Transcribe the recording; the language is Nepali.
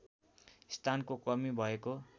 स्थानको कमी भएको